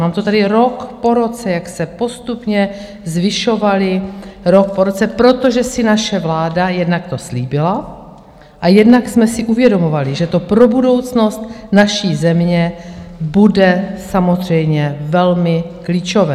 Mám to tady rok po roce, jak se postupně zvyšovaly, rok po roce, protože si naše vláda - jednak to slíbila a jednak jsme si uvědomovali, že to pro budoucnost naší země bude samozřejmě velmi klíčové.